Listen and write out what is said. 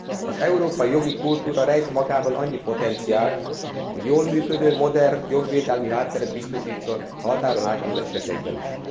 Az európai jogi kultúra rejt magában annyi potenciált, hogy jól működő, modern jogvédelmi hátteret biztosítson a határon átnyúló esetekben is.